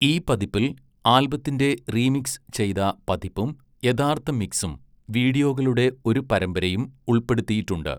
ഈ പതിപ്പിൽ ആൽബത്തിന്റെ റീമിക്സ് ചെയ്ത പതിപ്പും യഥാർത്ഥ മിക്സും വീഡിയോകളുടെ ഒരു പരമ്പരയും ഉൾപ്പെടുത്തിയിട്ടുണ്ട്.